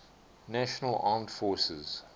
national armed forces